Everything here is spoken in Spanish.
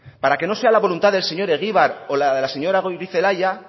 para que no sea la voluntad del señor egibar o la de la señora goirizelaia